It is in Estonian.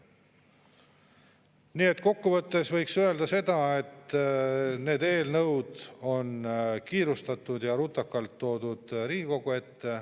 Nii et kokkuvõttes võib öelda, et need eelnõud on toodud Riigikogu ette kiirustades ja rutakalt.